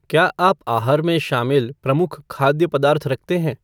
क्या आप आहार में शामिल प्रमुख खाद्य पदार्थ रखते हैं?